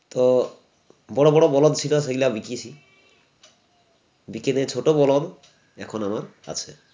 তো বড়ো বড়ো বলদ ছিল ছিলা বিকিয়েছি বিকেদে ছোটো বলদ এখন আমার আছে